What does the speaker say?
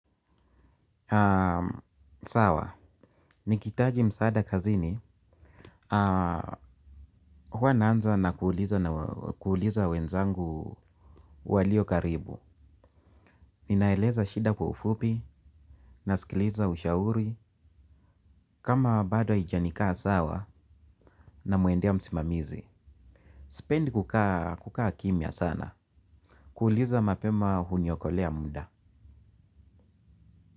Sawa, nikitaji msaada kazini. Huwa naanza na kuuliza wenzangu walio karibu. Ninaeleza shida kwa ufupi, naskiliza ushauri. Kama bado haijanikaa sawa na mwendea msimamizi. Sipendi kukaa kimia sana. Kuuliza mapema huniokolea mda.